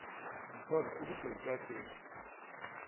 mfazi sukude ucacise